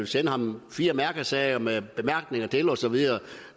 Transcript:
sende ham fire mærkesager med bemærkninger til og så videre